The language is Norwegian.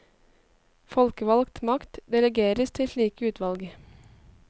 Folkevalgt makt delegeres til slike utvalg.